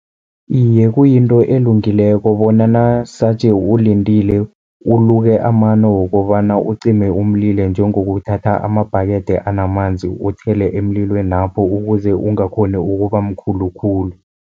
Iye, kuyinto elungileko bona nasaje ulindile uluke amano wokobana ucime umlilo, njengokuthatha amabhakethe anamanzi uthele emlilwenapho, ukuze ungakghoni ukuba mkhulu khulu.